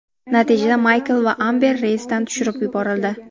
Natijada Maykl va Amber reysdan tushirib yuborildi.